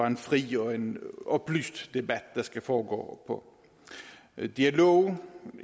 en fri og en oplyst debat der skal foregå dialog